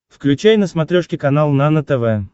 включай на смотрешке канал нано тв